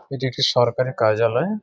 এটি একটি সরকারে কার্যালয়।